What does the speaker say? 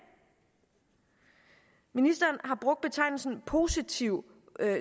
ministeren har brugt betegnelsen positiv